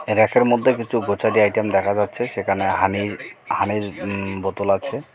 এই ব়্যাকের মধ্যে কিছু গচারি আইটেম দেখা যাচ্ছে সেখানে হানি হানির উম বোতল আছে .